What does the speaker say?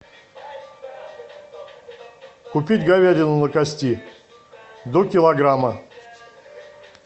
купить говядину на кости до килограмма